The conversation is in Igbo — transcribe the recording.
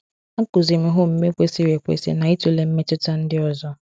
A kụziiri m ha omume kwesịrị ekwesị na ịtụle mmetụta ndị ọzọ.